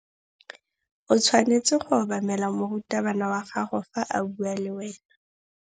O tshwanetse go obamela morutabana wa gago fa a bua le wena.